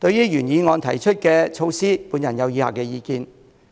就原議案提出的措施，我有以下的意見。